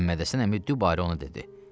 Məhəmməd Həsən əmi dübarə onu dedi: